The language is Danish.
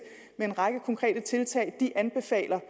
med en række konkrete tiltag de anbefaler